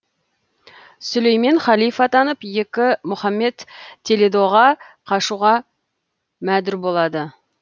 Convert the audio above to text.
сүлеймен халиф атанып екі мұхаммед толедоға қашуға мәдүр болады